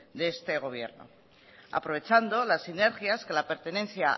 de este gobierno aprovechando las sinergias que la pertenencia